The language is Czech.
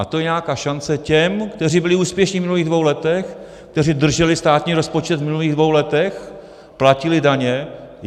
A to je nějaká šance těm, kteří byli úspěšní v minulých dvou letech, kteří drželi státní rozpočet v minulých dvou letech, platili daně.